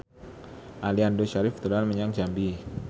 Aliando Syarif dolan menyang Jambi